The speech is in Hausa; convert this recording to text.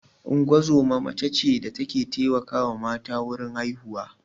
Ungozoma mace ce da ta ke taimakawa mata wurin haihuwa